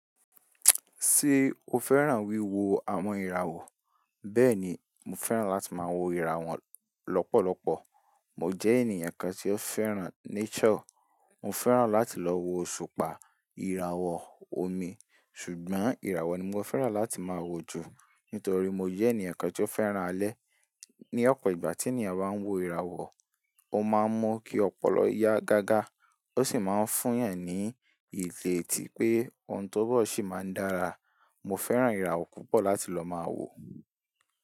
Sé o fẹ́ràn wí wo àwọn ìràwọ̀? Bẹ́ẹ̀ni, mo fẹ́ràn láti máa wo ìràwọ̀ lọ́pọ̀lọpọ̀. Mo jẹ́ ènìyàn kan tí ó fẹ́ràn nature. Mo fẹ́ràn láti lọ wo òṣùpá, ìràwọ̀, omi. Ṣùgbọ́n ìràwọ̀ ni mo fẹ́ràn láti máa wo jù. Nítorí mo jẹ́ ènìyàn kan tí ó fẹ́ràn alẹ́. Ni ọ̀pọ̀ ìgbà tí ènìyàn bá ń wo ìràwọ̀, ó máa mọ̀ kí ọpọlọ ya gágá. Ó sì máa ń fún eeyàn ní ìrétí pé ohun tó n bọ̀ sì máa ń dára. Mo fẹ́ràn ìràwọ̀ púpọ̀ láti lọ máa wo.